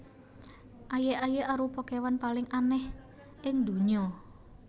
Aye aye arupa kewan paling aneh ing ndonya